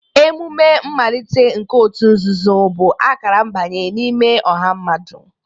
Emume mmalite nke òtù nzuzo bụ akara mbanye n'ime ọha mmadụ.